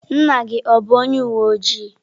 Nna gi o bu onye uwe ojii?